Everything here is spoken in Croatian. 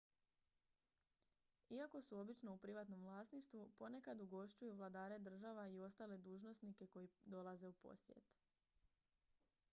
iako su obično u privatnom vlasništvu ponekad ugošćuju vladare država i ostale dužnosnike koji dolaze u posjet